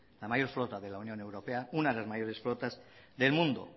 la mayor flota de la unión europea una de las mayores flotas del mundo